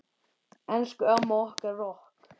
Elsku amma okkar rokk.